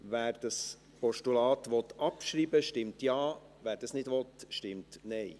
Wer das Postulat abschreiben will, stimmt Ja, wer dies nicht will, stimmt Nein.